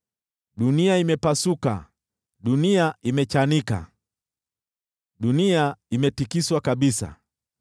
Dunia imepasuka, dunia imechanika, dunia imetikiswa kabisa.